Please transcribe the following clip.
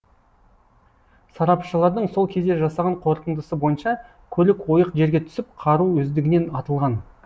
сарапшылардың сол кезде жасаған қорытындысы бойынша көлік ойық жерге түсіп қару өздігінен атылған